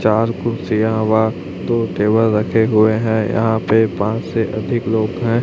चार कुर्सीयां वह दो टेबल रखे हुए हैं यहां पे पाच से अधिक लोग हैं।